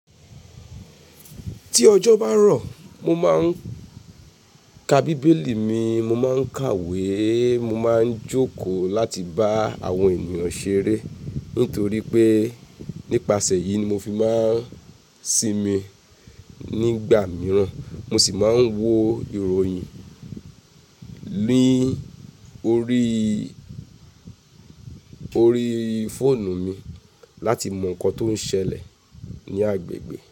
Tí ọjọ́ bá rọ̀, mo máa ń ka Bíbélì mi, mo máa ń kàwé, mo máa ń jókòó láti bá àwọn ènìyàn ṣeré. Nítorí pé nípasẹ̀ yìí ni mo fi máa ń sinmi. Nígbà mìíràn mo sì máa ń wo ìròyìn ni órí, órí fóònù mi láti mọ nǹkan tó ń ṣẹlẹ̀ ní agbègbè.